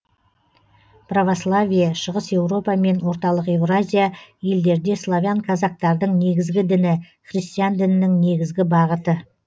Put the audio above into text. православие шығыс европа мен орталық евразия елдерде славян казактардың негізгі діні христиан дінінің негізгі бағыты